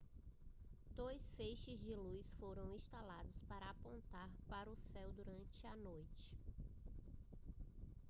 dois feixes de luz foram instalados para apontar para o céu durante a noite